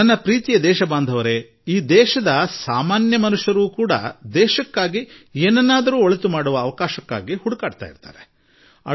ನನ್ನ ನಲ್ಮೆಯ ದೇಶವಾಸಿಗಳೇ ಈ ದೇಶದ ಶ್ರೀಸಾಮಾನ್ಯ ದೇಶಕ್ಕಾಗಿ ಬಹಳಷ್ಟು ಮಾಡಲು ಅವಕಾಶವನ್ನು ಹುಡುಕುತ್ತಿರುತ್ತಾನೆ